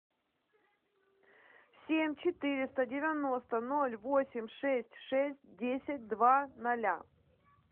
семь четыреста девяносто ноль восемь шесть шесть десять два ноля